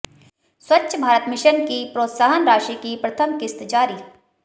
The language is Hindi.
स्वच्छ भारत मिशन की प्रोत्साहन राशि की प्रथम किश्त जारी